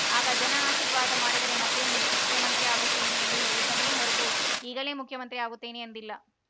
ಆಗ ಜನ ಆಶೀರ್ವಾದ ಮಾಡಿದರೆ ಮತ್ತೆ ಮುಖ್ಯಮಂತ್ರಿ ಆಗುತ್ತೇನೆ ಎಂದು ಹೇಳಿದ್ದೇನೆಯೇ ಹೊರತು ಈಗಲೇ ಮುಖ್ಯಮಂತ್ರಿ ಆಗುತ್ತೇನೆ ಎಂದಿಲ್ಲ